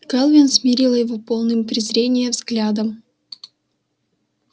кэлвин смерила его полным презрения взглядом